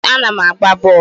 Ee, a na m agba bọọlụ